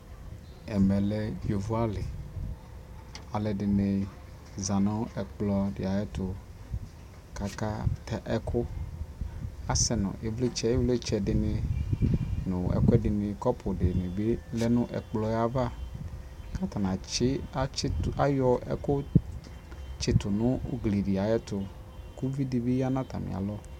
ɛmɛ lɛ yɔvɔ ali , alʋɛdini zanʋ ɛkplɔ di ayɛtʋ kʋ aka ta ɛkʋ, asɛnʋ ivlitsɛ, ivlitsɛ dini nʋ ɛkʋɛ dini kɔpʋ dini bi lɛnʋ ɛkplɔɛ aɣa kʋ atani atsi, atsitʋayɔ ɛkʋ tsitʋ nu ʋgli di ayɛtʋ kʋ ʋvi dibi yanʋ atami alɔ